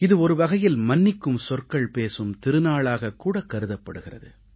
இது ஒரு வகையில் மன்னிக்கும் சொற்கள் பேசும் திருநாளாகக் கூடக் கருதப்படுகிறது